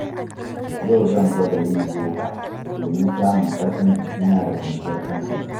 Yau zan gwada yin yoga domin samun ƙarfin jikina da kwanciyar hankali.